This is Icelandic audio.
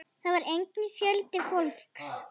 Þar var einnig fjöldi fólks.